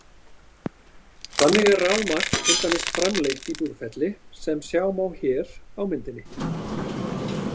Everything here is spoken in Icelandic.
Þannig er rafmagn til dæmis framleitt í Búrfelli sem sjá má hér á myndinni.